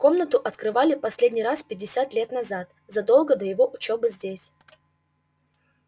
комнату открывали последний раз пятьдесят лет назад задолго до его учёбы здесь